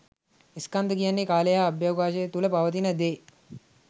ස්කන්ධ කියන්නේ කාලය හා අවකාශය තුළ පවතින දේ.